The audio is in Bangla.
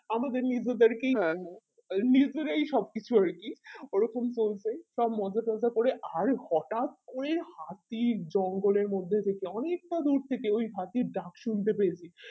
আমাদের নিজেদের কি নিজেরাই সব কিছু আরকি ওরকম করবে সব মজা টজা করে অরে হটাৎ ওই হাতি জঙ্গলের মধ্যে থেকে অনেকতা দূরে থেকে ওই হাতির ডাক শুনতে পেয়েছি